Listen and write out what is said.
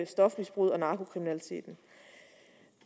stofmisbruget og narkokriminaliteten